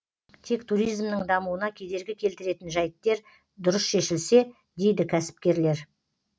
тек туримзнің дамуына кедергі келтіретін жайттер дұрыс шешілсе дейді кәсіпкерлер